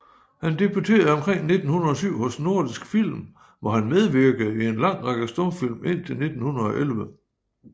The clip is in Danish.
Han debuterede omkring 1907 hos Nordisk Film hvor han medvirkede i en lang række stumfilm indtil 1911